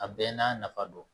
A bɛɛ n'a nafa don